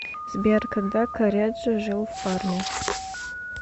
сбер когда корреджо жил в парме